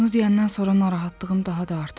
Bunu deyəndən sonra narahatlığım daha da artıb.